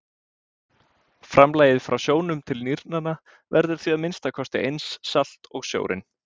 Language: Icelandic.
Framlagið frá sjónum til nýrnanna verður því að minnsta kosti eins salt og sjórinn.